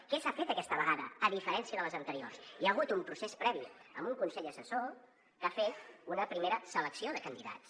què s’ha fet aquesta vegada a diferència de les anteriors hi ha hagut un procés previ amb un consell assessor que ha fet una primera selecció de candidats